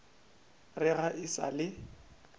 re ga e sa le